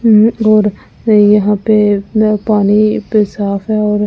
और यहां पे पानी पे साफ हैऔर--